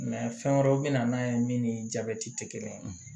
fɛn wɛrɛw bɛ na n'a ye min ni jabɛti tɛ kelen ye